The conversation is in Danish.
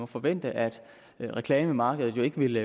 forventes at reklamemarkedet ikke vil